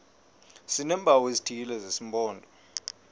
sineempawu ezithile zesimpondo